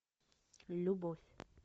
любовь